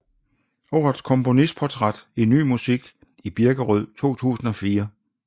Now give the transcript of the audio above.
Årets komponistportræt i Ny Musik i Birkerød 2004